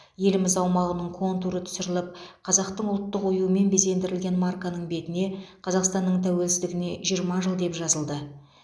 еліміз аумағының контуры түсіріліп қазақтың ұлттық оюымен безендірілген марканың бетіне қазақстанның тәуелсіздігіне жиырма жыл деп жазылды